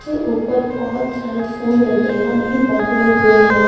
से ऊपर बहुत सारे फूल वगैरह भी बने हुए हैं।